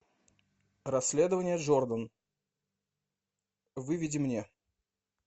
расследование джордан выведи мне